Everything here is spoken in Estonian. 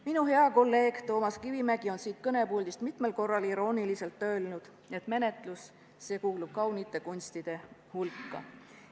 Minu hea kolleeg Toomas Kivimägi on siit kõnepuldist mitmel korral irooniliselt öelnud, et menetlus kuulub kaunite kunstide hulka.